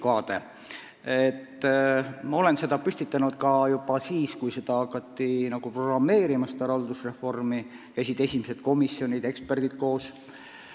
Ma püstitasin selle küsimuse juba siis, kui kogu seda haldusreformi hakati programmeerima ja esimesed komisjonid-eksperdid käisid koos.